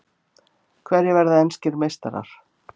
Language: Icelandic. Hverjir verða enskir meistarar?